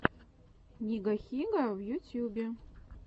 нигахига в ютьюбе